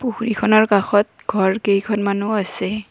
পুখুৰীখনৰ কাষত ঘৰ কেইখনমানো আছে।